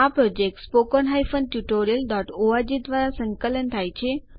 આ યોજના httpspoken tutorialorg દ્વારા સંકલન થાય છે